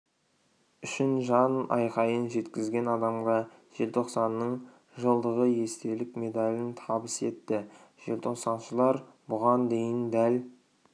үшін жан айқайын жеткізген адамға желтоқсанның жылдығы естелік медалін табыс етті желтоқсаншылар бұған дейін дәл